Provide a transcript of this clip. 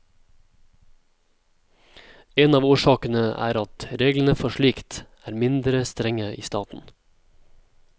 En av årsakene er at reglene for slikt er mindre strenge i staten.